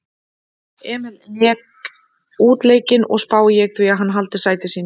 Emil lék útileikinn og spái ég því að hann haldi sæti sínu.